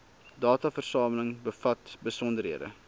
dataversameling bevat besonderhede